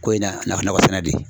Ko in na nafa nakɔ sɛnɛ de ye.